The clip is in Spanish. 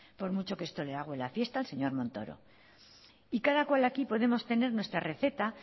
por mucho que esto le agüe la fiesta al señor montoro y cada cual aquí podemos tener nuestra receta